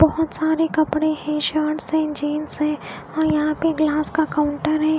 बहुत सारे कपड़े है शर्ट्स है जीन्स है और यहाँ पे ग्लास का काउंटर है।